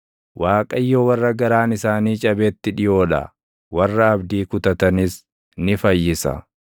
Waaqayyo warra garaan isaanii cabetti dhiʼoo dha; warra abdii kutatanis ni fayyisa.